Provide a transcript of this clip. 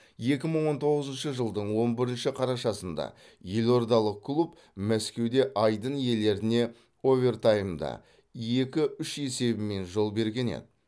екі мың он тоғызыншы жылдың он бірінші қарашасында елордалық клуб мәскеуде айдын иелеріне овертаймда екі үш есебімен жол берген еді